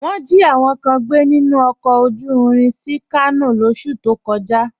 Wọn jí àwọn kàn gbẹ̀ nínu ọkọ̀ ojú ìrìn sí Kàno lọsú tó kọ̀já